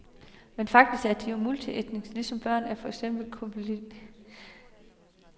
Men faktisk er de jo multietniske, ligesom børn af for eksempel en colombianer og en vietnameser.